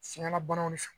Fiŋɛla banaw de fɛ